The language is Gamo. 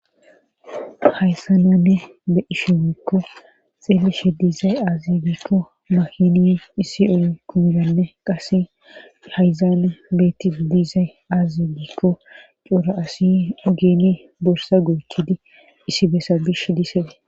hayssa na nuni be'ishe giekko xeelishe diizay aazi giikko mahini issi o kumiranne qase hayzaane beetti diizay aazigiikko coora asi ogeni borsa goochidi issi besa bish disee